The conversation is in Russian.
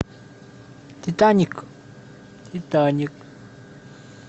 титаник титаник